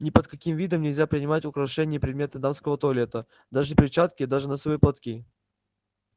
ни под каким видом нельзя принимать украшения и предметы дамского туалета даже перчатки даже носовые платки